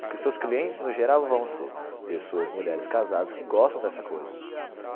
Porque seus clientes, no geral, vão ser pessoas, mulheres casadas que gostam dessa coisa.